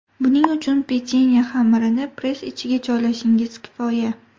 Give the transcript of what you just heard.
Buning uchun pechenye xamirini press ichiga joylashingiz kifoya!